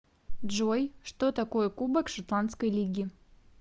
джой что такое кубок шотландской лиги